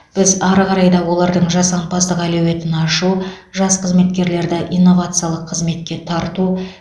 біз ары қарай да олардың жасампаздық әлеуетін ашу жас қызметкерлерді инновациялық қызметке тарту